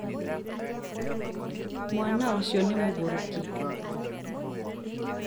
mwana ũcionĩ mũgũrũki